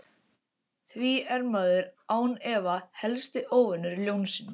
Því er maðurinn án efa helsti óvinur ljónsins.